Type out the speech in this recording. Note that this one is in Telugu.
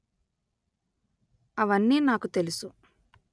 అవన్నీ నాకు తెలుసు